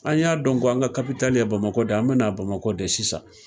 An y'a dɔn k'an ka kabitali ye Bamakɔ de ye , an bɛna Bamakɔ de sisan.